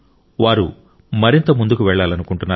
వారు మరింత ముందుకు వెళ్లాలనుకుంటున్నారు